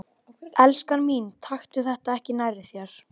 Ég er til í smá róður en ekki að veiða.